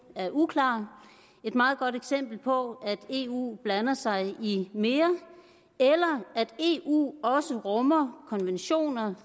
er uklar og et meget godt eksempel på at eu blander sig i mere eller at eu også rummer konventioner